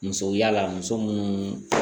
Muso yala muso munnu